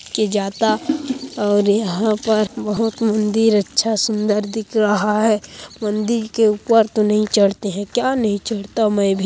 के जाता और यहाँ पर बहोत मंदिर अच्छा सुंदर दिख रहा है मंदिर के ऊपर तो नहीं चढ़ते हैं क्या नहीं चढ़ता मैं भी।